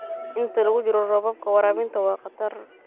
Inta lagu jiro roobabka, waraabinta waa khatar.